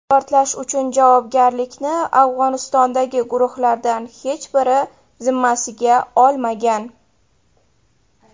Portlash uchun javobgarlikni Afg‘onistondagi guruhlardan hech biri zimmasiga olmagan.